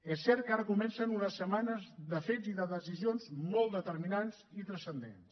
és cert que ara comencen unes setmanes de fets i de decisions molt determinants i transcendents